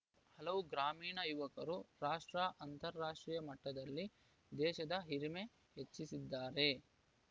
ಹಲವು ಗ್ರಾಮೀಣ ಯುವಕರು ರಾಷ್ಟ್ರ ಅಂತಾರಾಷ್ಟ್ರೀಯ ಮಟ್ಟದಲ್ಲಿ ದೇಶದ ಹಿರಿಮೆ ಹೆಚ್ಚಿಸಿದ್ದಾರೆ